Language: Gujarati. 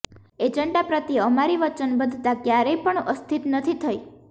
એજન્ડા પ્રત્યે અમારી વચનબદ્ધતા ક્યારેય પણ અસ્થિત નથી થઇ